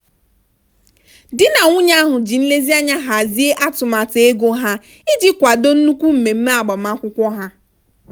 di na nwunye ahụ ji nlezianya hazie atụmatụ ego ha iji kwado nnukwu mmemme agbamakwụkwọ ha.